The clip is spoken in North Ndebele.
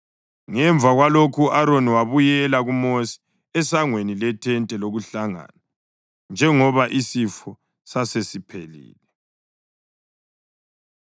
Ngemva kwalokho u-Aroni wabuyela kuMosi esangweni lethente lokuhlangana, njengoba isifo sasesiphelile.